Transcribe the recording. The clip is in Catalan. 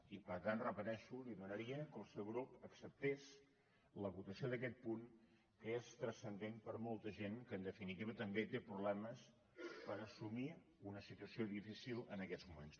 i per tant ho repeteixo li demanaria que el seu grup acceptés la votació d’aquest punt que és transcendent per a molta gent que en definitiva també té problemes per assumir una situació difícil en aquests moments